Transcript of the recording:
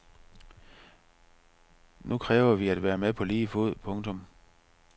Nu kræver vi at være med på lige fod. punktum